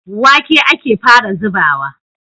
Wake ake fara zubawa.